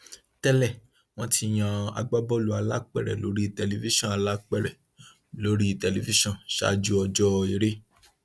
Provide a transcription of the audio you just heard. tẹlẹ wọn ti yan agbábọọlù alápèrẹ lórí tẹlifíṣàn alápèrẹ lórí tẹlifíṣàn ṣáájú ọjọ eré